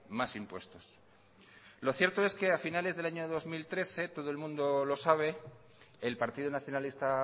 más impuestos lo cierto es que a finales del año dos mil trece todo el mundo lo sabe el partido nacionalista